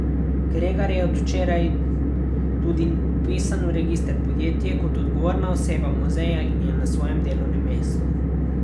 Kregar je od včeraj tudi vpisan v register podjetij kot odgovorna oseba muzeja in je na svojem delovnem mestu.